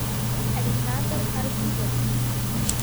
александр арбузов